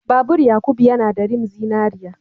Babur Yakubu yana da rim zinariya.